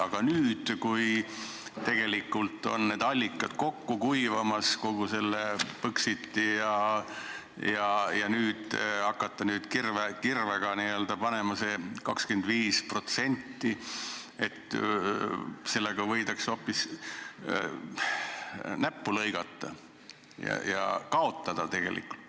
Aga kui nüüd, kui tegelikult on need allikad kogu selle Põxitiga kokku kuivamas, hakata kirvega panema seda 25%, siis võib hoopis näppu lõigata ja kaotada.